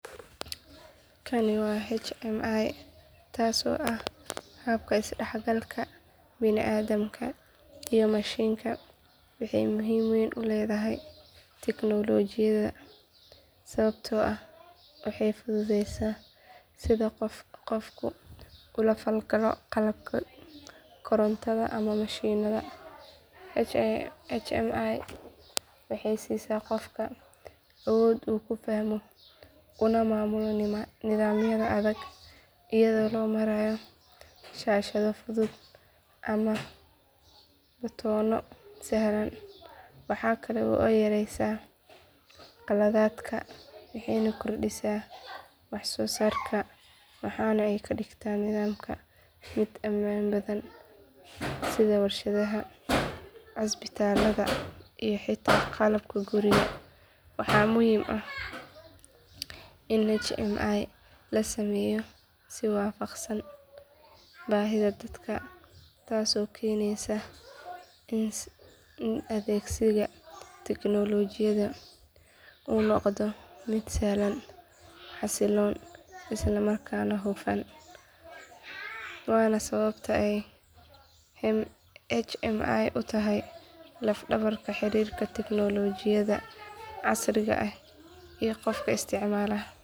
Kani waa hmi taasoo ah habka isdhexgalka bini aadamka iyo mashiinka waxay muhiim weyn u leedahay tignoolajiyada sababtoo ah waxay fududaysaa sida qofku ula falgalo qalabka korontada ama mashiinnada hmi waxay siisaa qofka awood uu ku fahmo una maamulo nidaamyada adag iyadoo loo marayo shaashado fudud ama batoonno sahlan waxa kale oo ay yareysaa khaladaadka waxay kordhisaa waxsoosaarka waxaana ay ka dhigtaa nidaamka mid ammaan badan sida warshadaha cusbitaallada iyo xitaa qalabka guriga waxaa muhiim ah in hmi la sameeyo si waafaqsan baahida dadka taasoo keenaysa in adeegsiga tignoolajiyada uu noqdo mid sahlan xasiloon islamarkaana hufan waana sababta ay hmi u tahay laf dhabarta xiriirka tiknoolajiyada casriga ah iyo qofka isticmaala.